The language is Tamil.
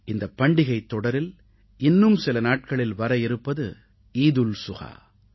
இந்தப் பண்டிகைத் தொடரில் இன்னும் சில நாட்களில் வர இருப்பது ஈத் உல் சுஹா